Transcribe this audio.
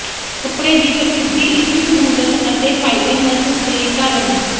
ਕੱਪੜੇ ਦੀ ਪ੍ਰਸਿੱਧੀ ਇਸ ਸਹੂਲਤ ਅਤੇ ਫ਼ਾਇਦੇਮੰਦ ਦੇ ਕਾਰਨ